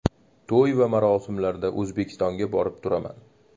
To‘y va marosimlarda O‘zbekistonga borib turaman.